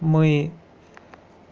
мы